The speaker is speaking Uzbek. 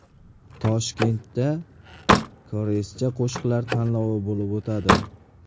Toshkentda koreyscha qo‘shiqlar tanlovi bo‘lib o‘tadi.